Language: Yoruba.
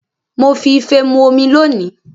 Mo fi ife mu omi lónìí